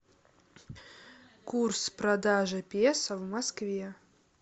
курс продажи песо в москве